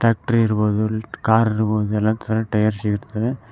Tractor ಇರ್ಬಹುದು car ಇರ್ಬಹುದು ಎಲ್ಲಾ ತರ ಟೈಯರ್ಸ್ ಸಿಗುತ್ತೆ.